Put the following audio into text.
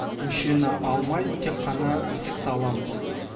мүшені алмай тек қана ісікті аламыз